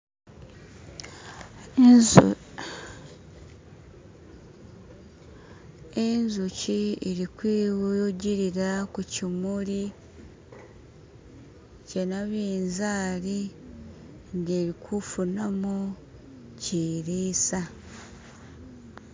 inzuki ilikuyugilila kukyimuli kyanabinzali nge eli kufunamo kyilisa